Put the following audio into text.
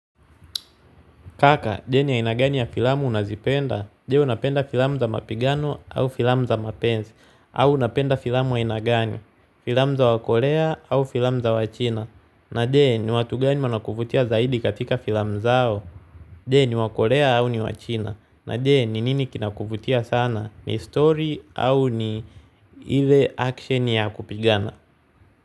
Kaka, deni aina gani ya filamu unazipenda? Je unapenda filamu za mapigano au filamu za mapenzi. Au unapenda filamu aina gani. Filamu za wakorea au filamu za wachina. Na je, ni watu gani wanakuvutia zaidi katika filamu zao? Jeno, ni wakorea au ni wachina. Na je, ni nini kinakuvutia sana? Ni story au ni ile action ya kupigana?